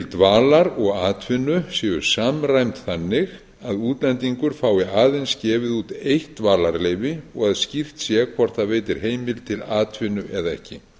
til dvalar og atvinnu séu samræmd þannig að útlendingur fái aðeins gefið út eitt dvalarleyfi og að skýrt sé hvort það veitir heimild til atvinnu eða ekki